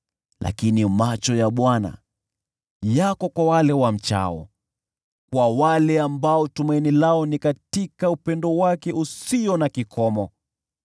Lakini macho ya Bwana yako kwa wale wamchao, kwa wale tumaini lao liko katika upendo wake usio na kikomo,